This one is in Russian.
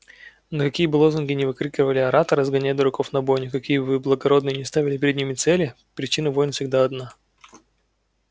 но какие бы лозунги ни выкрикивали ораторы сгоняя дураков на бойню какие бы благородные ни ставили перед ними цели причина войн всегда одна